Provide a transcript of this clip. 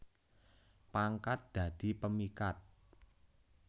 Pangkat dadi pemikat